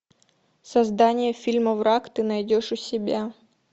создание фильма враг ты найдешь у себя